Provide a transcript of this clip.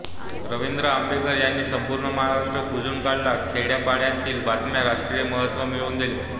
रवींद्र आंबेकर यांनी संपूर्ण महाराष्ट्र पिंजून काढत खेड्यापाड्यांतील बातम्यांना राष्ट्रीय महत्त्व मिळवून दिले